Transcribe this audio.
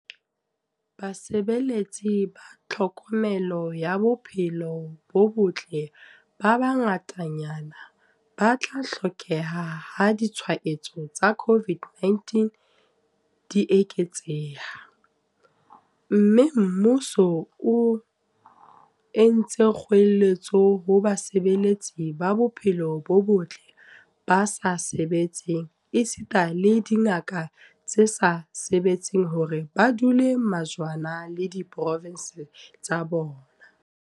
Basebeletsi ba tlhokomelo ya bo-phelo bo botle ba bangatanyana ba tla hlokeha ha ditshwaetso tsa COVID-19 di eketseha, mme mmuso o entse kgoeletso ho basebeletsi ba bophelo bo botle ba sa sebetseng esita le dingaka tse sa sebetseng hore ba dule majwana le diprovense tsa bona.